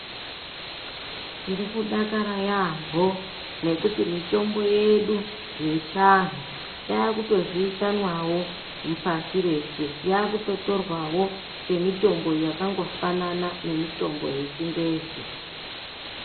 Tirikudakara yaambo ngekuti mitombo yedu yechiantu yakutozivikanwawo pasi rese yakungotorwawo yemutombo yakatofanana nemitombo yechingezi.